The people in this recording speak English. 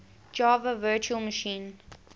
java virtual machine